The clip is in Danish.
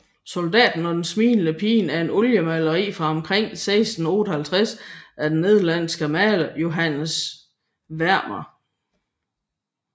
Soldaten og den smilende pige er et oliemaleri fra omkring 1658 af den nederlandske maler Johannes Vermeer